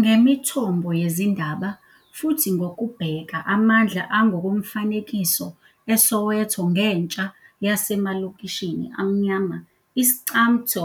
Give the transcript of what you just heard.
Ngemithombo yezindaba, futhi ngokubheka amandla angokomfanekiso eSoweto ngentsha yasemalokishini amnyama, i-Iscamtho